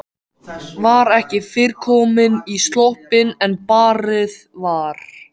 Var ekki fyrr komin í sloppinn en barið var.